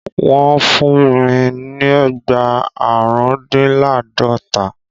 Wọ́n fún mi lẹ́gba àrùndínláàdọ́ta.